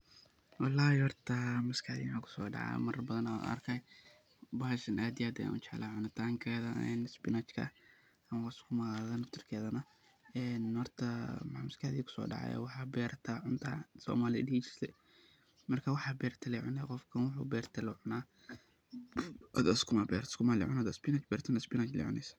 Wlhi horta maskaxdeyda waxa kusodaca marar badan ayan arkay bashan aad iyo aad ayan ujeclahay cunitankeda isbinajka ama sukumaga naftirkedana een horta waxa maaskaxdeyda kusodacay waxa berata cunta somalida dihi jirte marka waxa berata lee cunee qofka wuxu berte lee cuna hada sukuma berato sukuma lee cunee hada isbinaj berato isbinaj lee cunee.